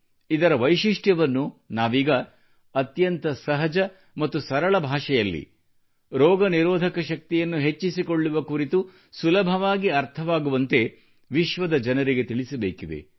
ಇದರ ಸಹಾಯದೊಂದಿಗೆ ನಾವೀಗ ಅತ್ಯಂತ ಸಹಜ ಮತ್ತು ಸರಳ ಭಾಷೆಯಲ್ಲಿ ರೋಗನಿರೋಧಕ ಶಕ್ತಿಯನ್ನು ಹೆಚ್ಚಿಸಿಕೊಳ್ಳುವ ಕುರಿತು ಸುಲಭವಾಗಿ ಅರ್ಥವಾಗುವಂತೆ ವಿಶ್ವದ ಜನರಿಗೆ ತಿಳಿಸಬೇಕಿದೆ